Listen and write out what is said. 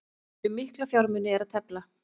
Um mikla fjármuni er að tefla